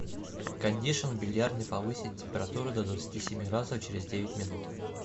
кондишн в бильярдной повысить температуру до двадцати семи градусов через девять минут